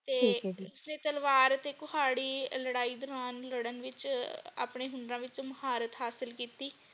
ਠੀਕ ਹੈ ਜੀ ਤੇ ਫੇਰ ਤਲਵਾਰ ਅਤੇ ਕੁਹਾੜੀ ਲੜਾਈ ਦੌਰਾਨ ਲੜਨ ਵਿਚ ਆਪਣੇ ਹੁਨਰ ਵਿਚ ਮਹਾਰਥ ਹਾਸਿਲ ਕੀਤੀ।